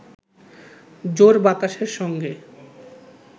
জোর বাতাসের সঙ্গে